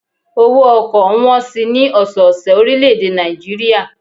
Owó ọkọ̀ ń wọn si ní ọ̀sọ́ ọ̀sẹ̀ orílè èdè Nàìjíríà